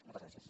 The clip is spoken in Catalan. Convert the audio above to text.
moltes gràcies